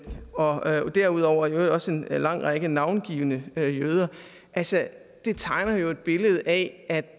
og derudover også en lang række navngivne jøder altså det tegner jo et billede af